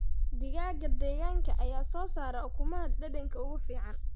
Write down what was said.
Digaagga deegaanka ayaa soo saara ukumaha dhadhanka ugu fiican.